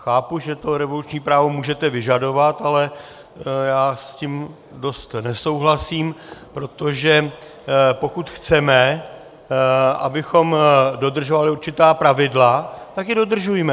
Chápu, že to revoluční právo můžete vyžadovat, ale já s tím dost nesouhlasím, protože pokud chceme, abychom dodržovali určitá pravidla, tak je dodržujme.